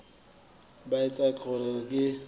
ba a tseba gore ke